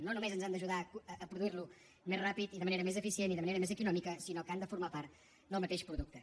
no només ens han d’ajudar a produir lo més ràpidament i de manera més eficient i de manera més econòmica sinó que han de formar part del mateix producte